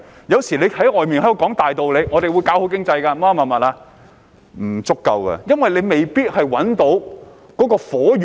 有時候政府說很多大道理，說會做好經濟之類的言論，但其實是不足夠的，因為未必可以找到"火源"。